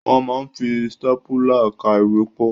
Wọ́n máa ń fi stápùlà ká ìwé pọ̀.